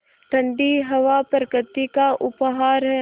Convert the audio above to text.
ठण्डी हवा प्रकृति का उपहार है